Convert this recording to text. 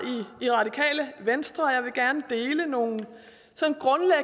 i radikale venstre og jeg vil gerne dele nogle